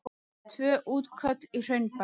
Tvö útköll í Hraunbæ